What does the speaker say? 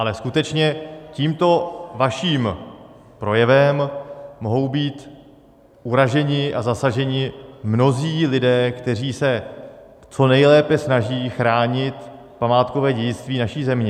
Ale skutečně tímto vaším projevem mohou být uraženi a zasaženi mnozí lidé, kteří se co nejlépe snaží chránit památkové dědictví naší země.